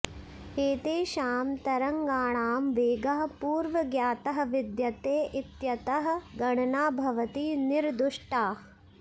एतेषां तरङ्गाणां वेगः पूर्वज्ञातः विद्यते इत्यतः गणना भवति निर्दुष्टा